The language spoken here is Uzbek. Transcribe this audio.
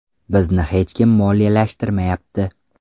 Bizni hech kim moliyalashtirmayapti.